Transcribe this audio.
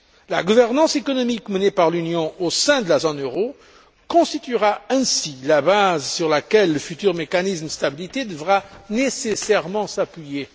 La gouvernance économique menée par l'Union au sein de la zone euro constituera ainsi la base sur laquelle le futur mécanisme de stabilité devra nécessairement s'appuyer.